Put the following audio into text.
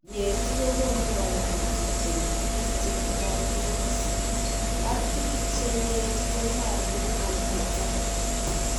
yyetiit kokoonu kaimutik en biik chetindo AS, ak biik che yyet konyaalu komeeto.